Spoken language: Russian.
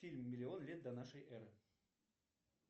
фильм миллион лет до нашей эры